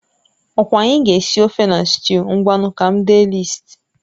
Ọkwa anyị ga-esi ofe na sịtịụ, ngwanu ka m dee lịist